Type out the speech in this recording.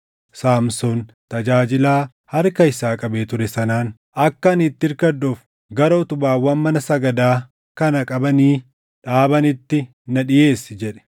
Saamsoon tajaajilaa harka isaa qabee ture sanaan, “Akka ani itti irkadhuuf gara utubaawwan mana sagadaa kana qabanii dhaabaniitti na dhiʼeessi” jedhe.